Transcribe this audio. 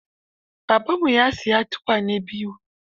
Babanmu ya siyi tukwane biyu.